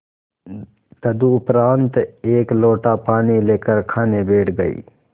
तदुपरांत एक लोटा पानी लेकर खाने बैठ गई